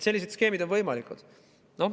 Sellised skeemid on võimalikud.